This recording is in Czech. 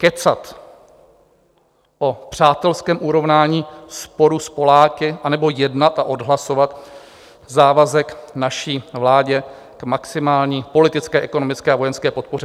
Kecat o přátelském urovnání sporu s Poláky, anebo jednat a odhlasovat závazek naší vládě k maximální politické, ekonomické a vojenské podpoře?